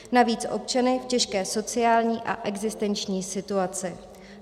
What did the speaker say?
Navíc občany v těžké sociální a existenční situaci.